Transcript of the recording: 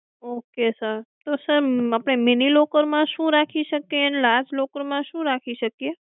ok sir તો આપણે mini locker માં શું રાખી શકીયે અને large locker માં શું રાખી શકીયે?